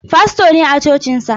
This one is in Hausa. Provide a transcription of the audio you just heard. Fasto ne a cocinsa.